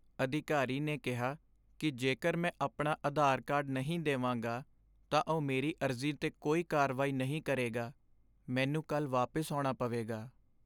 ਅਧਿਕਾਰੀ ਨੇ ਕਿਹਾ ਕਿ ਜੇਕਰ ਮੈਂ ਆਪਣਾ ਆਧਾਰ ਕਾਰਡ ਨਹੀਂ ਦੇਵਾਂਗਾ, ਤਾਂ ਉਹ ਮੇਰੀ ਅਰਜ਼ੀ 'ਤੇ ਕੋਈ ਕਾਰਵਾਈ ਨਹੀਂ ਕਰੇਗਾ। ਮੈਨੂੰ ਕੱਲ੍ਹ ਵਾਪਿਸ ਆਉਣਾ ਪਵੇਗਾ।